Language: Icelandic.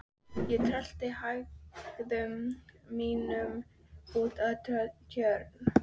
Ég rölti í hægðum mínum út að Tjörn.